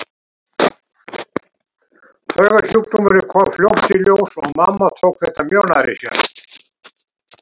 Taugasjúkdómurinn kom fljótt í ljós og mamma tók þetta mjög nærri sér.